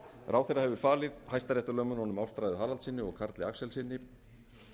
ráðherra hefur falið hæstaréttarlögmönnunum ástráði haraldssyni og karli axelssyni